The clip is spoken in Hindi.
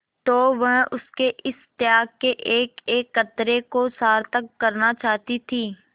तो वह उसके इस त्याग के एकएक कतरे को सार्थक करना चाहती थी